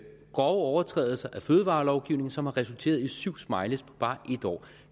overtrædelser af fødevarelovgivningen som har resulteret i syv smileyer på bare en år